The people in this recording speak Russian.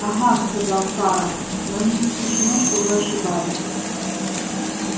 ага сказал фара но не исключено что вы ошибаетесь